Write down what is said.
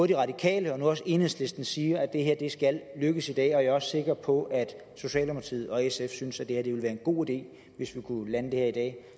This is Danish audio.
de radikale og nu også enhedslisten siger at det her skal lykkes i dag og jeg er også sikker på at socialdemokratiet og sf synes at det ville være en god ide hvis vi kunne lande det her i dag